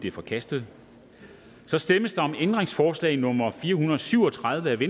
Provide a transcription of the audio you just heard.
er forkastet der stemmes om ændringsforslag nummer fire hundrede og syv og tredive af v